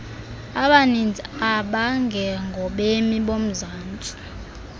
abaninzi abangengobemi bomzantsi